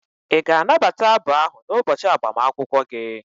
Ị ga-anabata abụ ahụ n'ụbọchị agbamakwụkwọ gị?